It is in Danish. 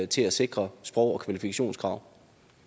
til at sikre sprog og kvalifikationskrav